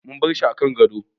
Mun barshi kan gado